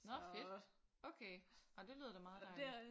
Nå fedt. Okay nå det lyder da meget dejligt